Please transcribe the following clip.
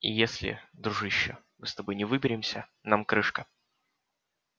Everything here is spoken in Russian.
и если дружище мы с тобой не выберемся нам крышка